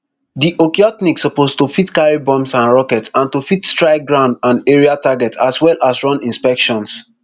di okhotnik suppose to fit carry bombs and rockets and to fit strike ground and aerial targets as well as run inspections